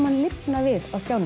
lifna við á skjánum